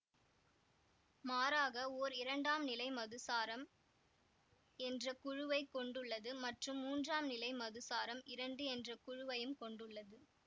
மாறாக ஓர் இரண்டாம்நிலை மதுசாரம் என்ற குழுவைக் கொண்டுள்ளது மற்றும் மூன்றாம்நிலை மதுசாரம் இரண்டு என்ற குழுவையும் கொண்டுள்ளது